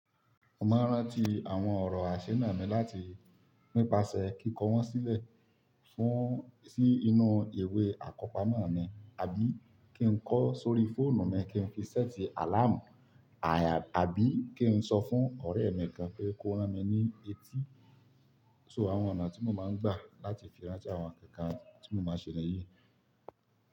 Mo máa rántí àwọn ọ̀rọ̀ isuna mi láti nípasẹ̀ kíkọ wọ́n sílẹ̀ fún sí inú ìwé àkọ́pamọ́ mi, àbí kí n kọ sórí fóònù mi kí n fi sẹ́ẹ̀tì àláàmù, àbí kí n sọ fún ọ̀rẹ́ mi kan pé kó rán mi ní etí. So àwọn ọ̀nà tí mo máa ń gbà láti fi rántí àwọn ǹkan tí mo máa ń ṣe níyì.